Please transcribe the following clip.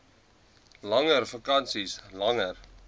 langer vakansies langer